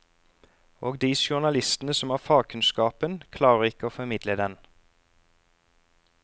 Og de journalistene som har fagkunnskapen, klarer ikke å formidle den.